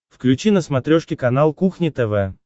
включи на смотрешке канал кухня тв